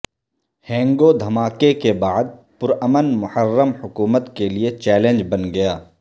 ہنگو دھماکے کے بعد پرامن محرم حکومت کے لئے چیلنج بن گیا